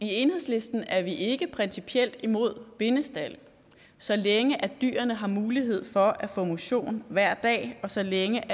i enhedslisten er vi ikke principielt imod bindestalde så længe dyrene har mulighed for at få motion hver dag og så længe